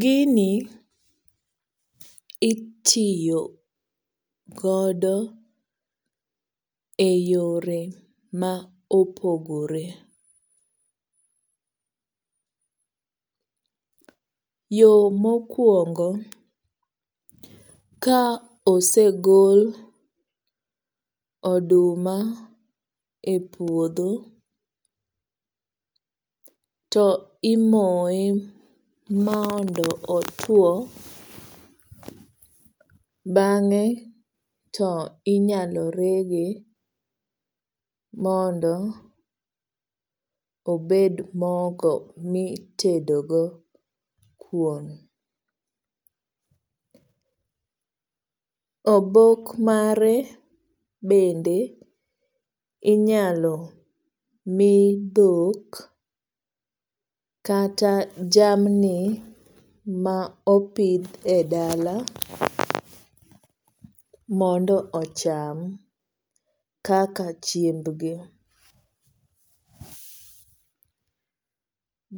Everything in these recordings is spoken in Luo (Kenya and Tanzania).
Gini itiyo godo e yore ma opogore. Yo mokuongo ka osegol oduma e puodho to imoye mondo otuo. Bang'e to inyalo rege mondo obed mogo mitedo go kuon. Obok mare bende inyalo mi dhok kata jamni ma opidh e dala mondo ocham kaka chiembgi.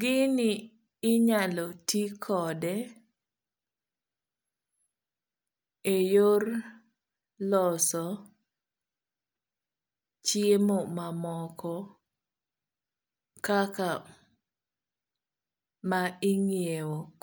Gini inyalo ti kode e yor loso chiemo mamoko kaka ma ing'iew.